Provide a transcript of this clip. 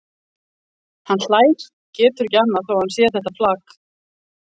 Hann hlær, getur ekki annað þó að hann sé þetta flak.